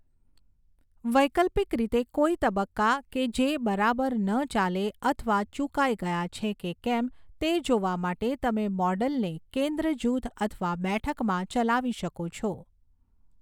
વૈકલ્પિક રીતે, કોઈ તબક્કા કે જે બરાબર ન ચાલે અથવા ચૂકાઈ ગયા છે કે કેમ તે જોવા માટે તમે મૉડલને કેંદ્ર જૂથ અથવા બેઠકમાં ચલાવી શકો છો.